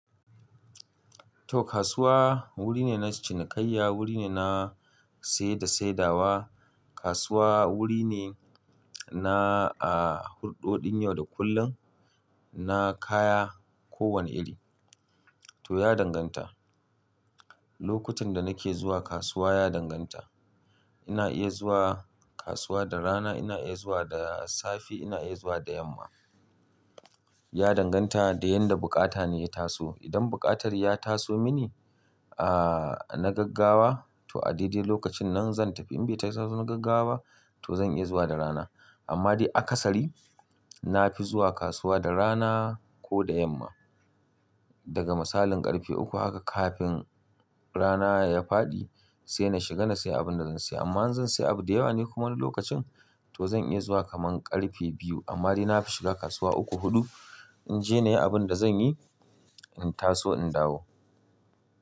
To kasuwa wuri ne na cinikayya, wuri ne na saye da saidawa. Kasuwa wuri ne na a hurɗoɗin yau da kullum, na kaya ko wane iri. To ya danganta, lokutan da nake zuwa kasuwa ya danganta. Ina iya zuwa kasuwa da rana, ina iya zuwa da safe, ina iya zuwa da yamma. Ya danganta da yanda buƙata na ya taso. Idan buƙatar ya taso mini a na gaggawa to a daidai lokacin nan zan tafi. In bai tasa na gaggawa ba to zan iya zuwa da rana. Amma dai akasari na fi zuwa kasuwa da rana ko da yamma. Daga misalin ƙarfe uku haka kafin rana ya faɗi sai na shiga na sayi abin da zan sayi. Amma in zan sayi abu da yawa ne kuma lokacin to zan iya zuwa kaman ƙarfe biyu. Amma dai na fi shiga kasuwa uku, huɗu in je na yi abin da zan yi, in taso in dawo.